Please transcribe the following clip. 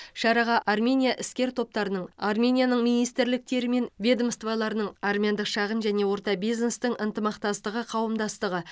шараға армения іскер топтарының арменияның министрліктері мен ведомстволарының армяндық шағын және орта бизнестің ынтымақтастығы қауымдастығы